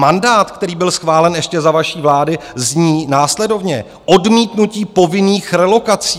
Mandát, který byl schválen ještě za vaší vlády, zní následovně: odmítnutí povinných relokací.